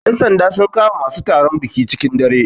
Yan sanda sun kama masu taron biki cikin dare